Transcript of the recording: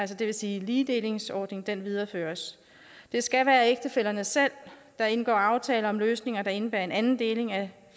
det vil sige ligedelingsordningen videreføres det skal være ægtefællerne selv der indgår aftaler om løsninger der indebærer en anden deling af